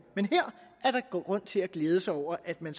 men her er der god grund til at glæde sig over at man